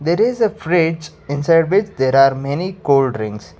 there is a fridge inside which there are many cooldrinks.